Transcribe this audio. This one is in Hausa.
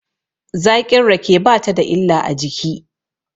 Zaƙin rake ba ta da illa a jiki.